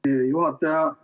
Aitäh, hea juhataja!